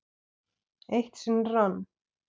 Eitt sinn rann